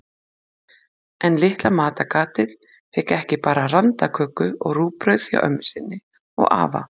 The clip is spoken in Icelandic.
En litla matargatið fékk ekki bara randaköku og rúgbrauð hjá ömmu sinni og afa.